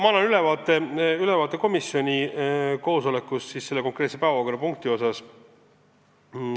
Ma annan ülevaate, mis toimus komisjoni koosolekul selle konkreetse päevakorrapunkti arutelul.